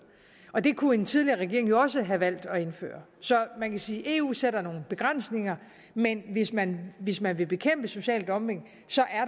og det kunne en tidligere regering jo også have valgt at indføre så man kan sige at eu sætter nogle begrænsninger men hvis men hvis man vil bekæmpe social dumping